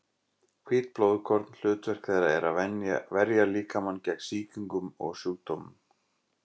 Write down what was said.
Hvít blóðkorn: hlutverk þeirra er að verja líkamann gegn sýkingum og sjúkdómum.